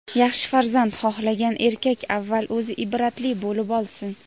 yaxshi farzand xohlagan erkak avval o‘zi ibratli bo‘lib olsin!.